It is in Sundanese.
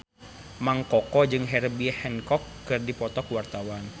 Mang Koko jeung Herbie Hancock keur dipoto ku wartawan